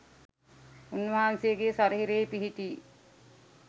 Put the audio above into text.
උන් වහන්සේගේ ශරීරයෙහි පිහිටි